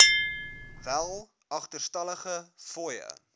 wel agterstallige fooie